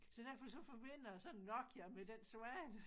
Så derfor så forbinder jeg sådan en Nokia med den svane